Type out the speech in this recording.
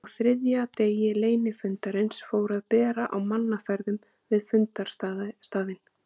Á þriðja degi leynifundarins fór að bera á mannaferðum við fundarstaðinn.